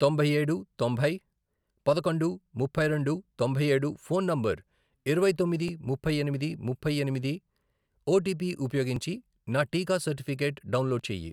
తొంభై ఏడు, తొంభై, పదకొండు, ముప్పై రెండు, తొంభై ఏడు, ఫోన్ నంబర్, ఇరవై తొమ్మిది, ముప్పై ఎనిమిది, ముప్పై ఎనిమిది, ఓటీపీ ఉపయోగించి నా టీకా సర్టిఫికెట్ డౌన్లోడ్ చేయి.